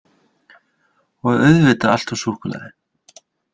Og auðvitað allt úr súkkulaði